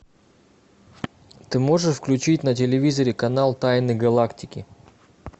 ты можешь включить на телевизоре канал тайны галактики